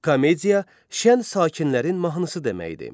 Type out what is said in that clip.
Komediya şən sakinlərin mahnısı deməkdir.